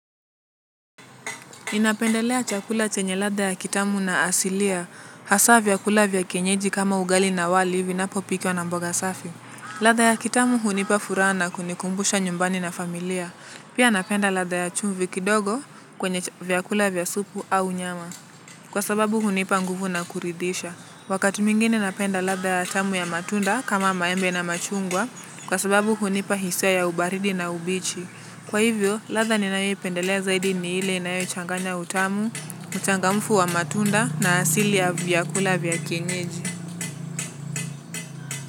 Ninapendelea chakula chenye ladha ya kitamu na asilia, hasaa vyakula vya kienyeji kama ugali na wali, vinapo pikiwa na mboga safi. Ladha ya kitamu hunipa furaha na kunikumbusha nyumbani na familia. Pia napenda ladha ya chumvi kidogo kwenye vyakula vya supu au nyama. Kwa sababu hunipa nguvu na kuridhisha. Wakatu mwigine napenda ladha ya tamu ya matunda kama maembe na machungwa, kwa sababu hunipa hisia ya ubaridi na ubichi. Kwa hivyo, ladha ninayo ipendelea zaidi ni hile inayo changanya utamu, uchangamfu wa matunda na asili ya vya kula vya kienyeji.